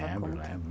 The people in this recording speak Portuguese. Lembro, lembro.